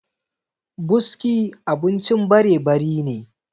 buski abincin barebari ne